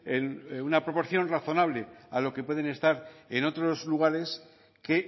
en una proporción razonable a lo que pueden estar en otros lugares que